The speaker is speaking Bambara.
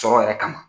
Sɔrɔ yɛrɛ kama